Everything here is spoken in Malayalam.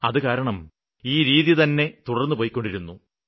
അതുകാരണം ഈ രീതിതന്നെ തുടര്ന്ന്പൊയ്ക്കൊണ്ടിരിക്കുന്നു